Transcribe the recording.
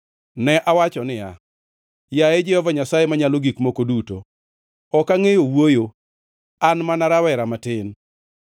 Ne awacho niya, “Yaye, Jehova Nyasaye Manyalo Gik Moko Duto, ok angʼeyo wuoyo; an mana rawera matin.”